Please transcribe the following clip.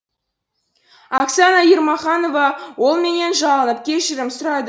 оксана ермаханова ол менен жалынып кешірім сұрады